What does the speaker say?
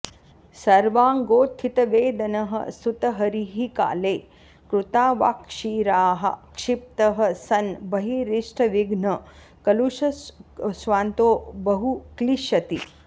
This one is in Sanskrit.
सर्वाङ्गोत्थितवेदनः स्तुतहरिः काले कृतावाक्शिराः क्षिप्तः सन् बहिरिष्टविघ्नकलुषस्वान्तो बहु क्लिश्यति